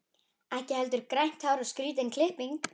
Hrafnhetta, bókaðu hring í golf á föstudaginn.